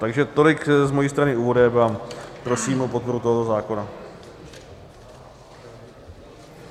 Takže tolik z mojí strany úvodem a prosím o podporu tohoto zákona.